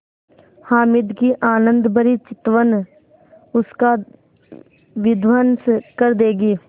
हामिद की आनंदभरी चितवन उसका विध्वंस कर देगी